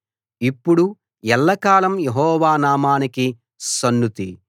ఇప్పుడు ఎల్లకాలం యెహోవా నామానికి సన్నుతి